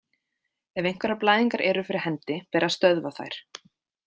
Ef einhverjar blæðingar eru fyrir hendi ber að stöðva þær.